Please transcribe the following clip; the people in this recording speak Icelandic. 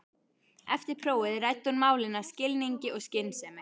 Eftir prófið ræddi hún málin af skilningi og skynsemi.